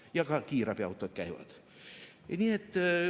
Ja ka kiirabiautod käivad.